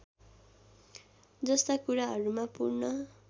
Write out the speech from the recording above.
जस्ता कुराहरूमा पूर्ण